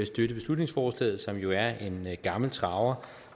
støtte beslutningsforslaget som jo er en gammel traver